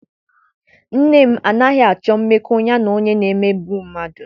Nne m anaghị m achọ mmekọ ya na onye na-emegbu mmadụ.